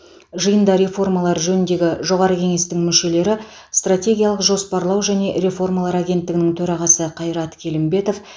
жиында реформалар жөніндегі жоғары кеңестің мүшелері стратегиялық жоспарлау және реформалар агенттігінің төрағасы қайрат келімбетов